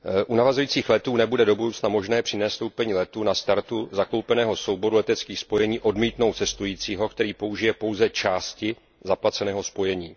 U navazujících letů nebude do budoucna možné při nastoupení letu na startu zakoupeného souboru leteckých spojení odmítnout cestujícího, který použije pouze části zaplaceného spojení.